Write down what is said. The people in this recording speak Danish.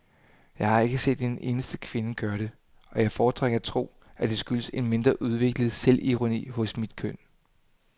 Jeg har ikke set en eneste kvinde gøre det, og jeg foretrækker at tro, at det skyldes en mere udviklet selvironi hos mit køn.